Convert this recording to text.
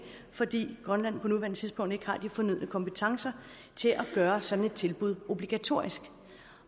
fordi grønland på nuværende tidspunkt ikke har de fornødne kompetencer til at gøre sådan et tilbud obligatorisk